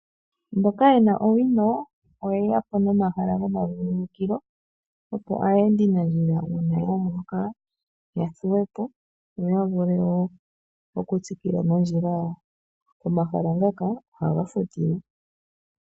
Mboka yena owino oye yapo nomahala gomavululukilo opo aayendinandjila uuna yaloloka yathuwepo, yo yavule wo okutsikila nondjila yawo. Omahala ngaka ohaga futilwa.